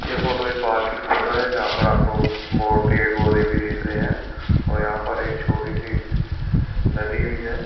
यह फोटो एक पार्क की फोटो है जहां पर आपको और पेड़ पौधे भी दिख रहे हैं और यहां पर एक छोटी सी नदी भी है ।